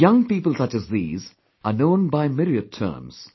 The young people such as these, are known by myriad terms